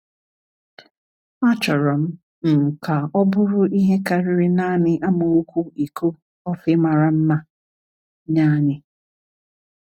Achọrọ m m ka ọ bụrụ ihe karịrị naanị amaokwu iko kọfị mara mma nye anyị.